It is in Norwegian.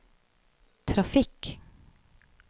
trafikk